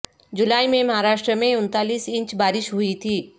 جولائی میں مہاراشٹر میں انتالیس انچ بارش ہوئی تھی